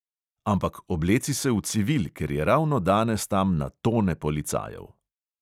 Ampak obleci se v civil, ker je ravno danes tam na tone policajev.